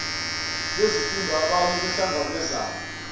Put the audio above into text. bezifunda abaye bahlangabezane